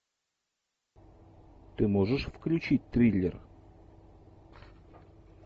ты можешь включить триллер